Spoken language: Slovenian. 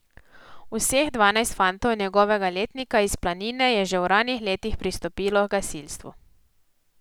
Vseh dvanajst fantov njegovega letnika iz Planine je že v ranih letih pristopilo h gasilstvu.